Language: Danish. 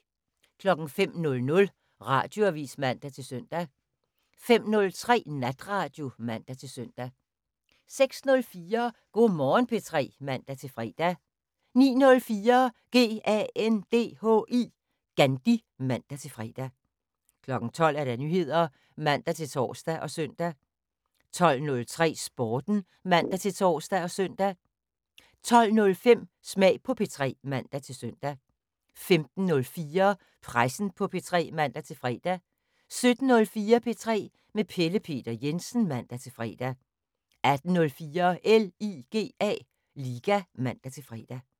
05:00: Radioavis (man-søn) 05:03: Natradio (man-søn) 06:04: Go' Morgen P3 (man-fre) 09:04: GANDHI (man-fre) 12:00: Nyheder (man-tor og søn) 12:03: Sporten (man-tor og søn) 12:05: Smag på P3 (man-søn) 15:04: Pressen på P3 (man-fre) 17:04: P3 med Pelle Peter Jensen (man-fre) 18:04: LIGA (man-fre)